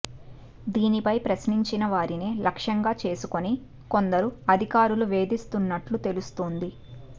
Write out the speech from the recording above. దీనిపై ప్రశ్నించిన వారినే లక్ష్యంగా చేసుకుని కొందరు అధికారులు వేధిస్తున్నట్టు తెలుస్తోంది